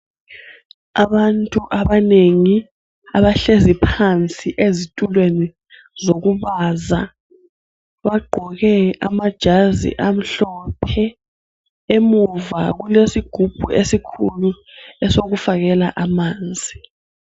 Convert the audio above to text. Abantu abanengi abahlezi phansi ezitulweni zokubaza, bagqoke amajazi amhlophe emuva kulesigubhu esikhulu esokufakela amanzi.